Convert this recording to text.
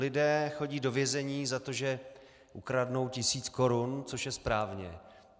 Lidé chodí do vězení za to, že ukradnou tisíc korun, což je správně.